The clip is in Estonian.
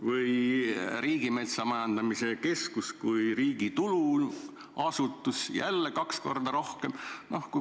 Või Riigimetsa Majandamise Keskus, riigi tuluasutus – jälle kaks korda rohkem.